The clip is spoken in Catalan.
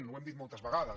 ho hem dit moltes vegades